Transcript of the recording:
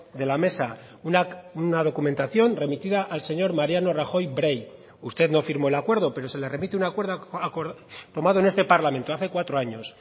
de la mesa una documentación remitida al señor mariano rajoy brey usted no firmó el acuerdo pero se le remite un acuerdo tomado en este parlamento hace cuatro años